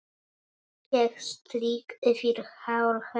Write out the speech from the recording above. Ég strýk yfir hár hennar.